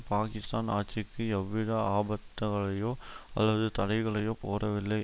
பாக்கிஸ்தான் ஆட்சிக்கு எவ்வித ஆபத்தகளையோ அல்லது தடைகளையோ போடவில்லை